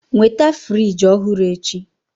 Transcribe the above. Nweta fịrij ọhụrụ echi!